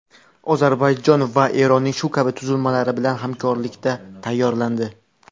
Ozarbayjon va Eronning shu kabi tuzilmalari bilan hamkorlikda tayyorlandi.